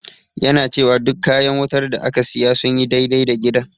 Yana cewa duk kayan wutar da aka siya sun yi dai-dai da gidan.